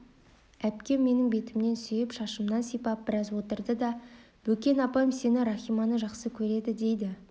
әпкем менің бетімнен сүйіп шашымнан сипап біраз отырды да бекен апам сені рахиманы жақсы көреді дейді